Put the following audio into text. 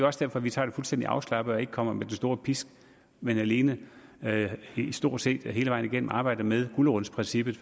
også derfor vi tager det fuldstændig afslappet og ikke kommer med den store pisk men alene stort set hele vejen igennem arbejder med gulerodsprincippet